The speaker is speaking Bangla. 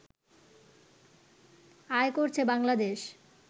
আয় করছে বাংলাদেশ